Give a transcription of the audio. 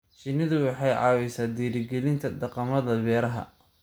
Shinnidu waxay caawisaa dhiirigelinta dhaqamada beeraha.